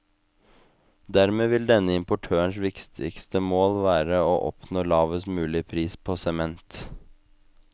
Dermed vil denne importørens viktigste mål være å oppnå lavest mulig pris på sement.